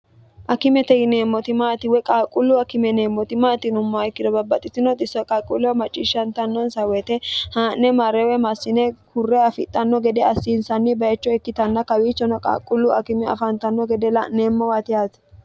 akimete yineemmoti maatiwey qaalqullu akimeneemmoti maatinumma ikkiro babbaxxitinoxisso qalquullewa macciishshantannonsa woyite haa'ne ma'rewe massine kurre afixxanno gede assiinsanni bayicho ikkitanna kawiichono qaaqqullu akime afaantanno gede la'neemmowati haati